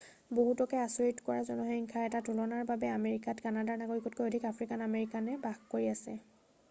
বহুতকে আচৰিত কৰা জনসংখ্যাৰ এটা তুলনাৰ বাবে আমেৰিকাত কানাডাৰ নাগৰিকতকৈ অধিক আফ্ৰিকান আমেৰিকানে বাস কৰি আছে